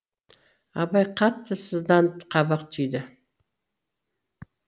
абай қатты сызданып қабақ түйді